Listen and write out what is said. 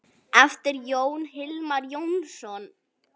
eftir Jón Hilmar Jónsson